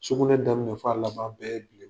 Sugunɛ damniɛ f'a laban bɛɛ ye bilem